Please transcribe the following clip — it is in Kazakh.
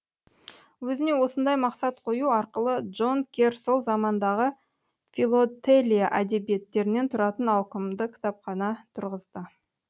өзіне осындай мақсат қою арқылы джон керр сол замандағы филотелия әдебиеттерінен тұратын ауқымды кітапхана тұрғызды